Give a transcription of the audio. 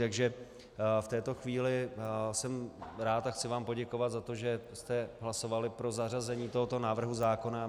Takže v této chvíli jsem rád a chci vám poděkovat za to, že jste hlasovali pro zařazení tohoto návrhu zákona.